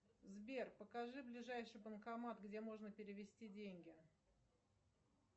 сбер покажи ближайший банкомат где можно перевести деньги